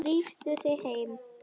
Drífðu þig heim.